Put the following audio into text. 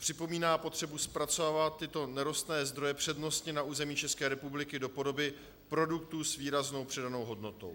Připomíná potřebu zpracovávat tyto nerostné zdroje přednostně na území České republiky do podoby produktů s výraznou přidanou hodnotou.